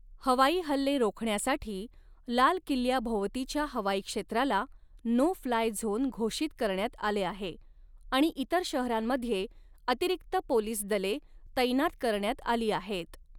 हवाई हल्ले रोखण्यासाठी लाल किल्ल्याभोवतीच्या हवाई क्षेत्राला नो फ्लाय झोन घोषित करण्यात आले आहे आणि इतर शहरांमध्ये अतिरिक्त पोलीस दले तैनात करण्यात आली आहेत.